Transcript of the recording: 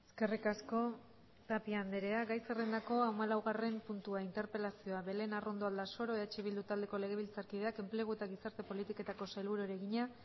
eskerrik asko tapia andrea gai zerrendako hamalaugarren puntua interpelazioa belén arrondo aldasoro eh bildu taldeko legebiltzarkideak enplegu eta gizarte politiketako sailburuari egina